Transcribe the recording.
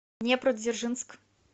днепродзержинск